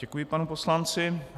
Děkuji panu poslanci.